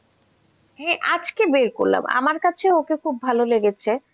আজকে বের করলাম আমার কাছে ওকে খুব ভালো লেগেছে,